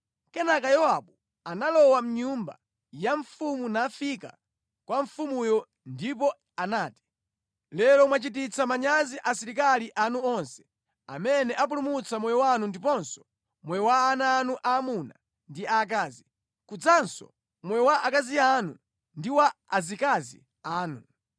Kenaka Yowabu analowa mʼnyumba ya mfumu nafika kwa mfumuyo ndipo anati, “Lero mwachititsa manyazi asilikali anu onse, amene apulumutsa moyo wanu ndiponso moyo wa ana anu aamuna ndi aakazi, kudzanso moyo wa akazi anu ndi wa azikazi anu.